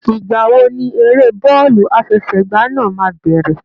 Ìgbà wo ni eré bọ́ọ̀lù àfẹsẹ̀gbá náà máa bẹ̀rẹ̀?